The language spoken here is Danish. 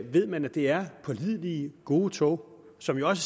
ved man at det er pålidelige gode tog som jo også